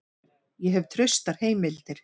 Ég hef traustar heimildir.